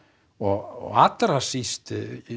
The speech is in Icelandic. og allra síst